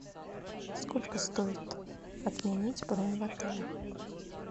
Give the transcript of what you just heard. сколько стоит отменить бронь в отеле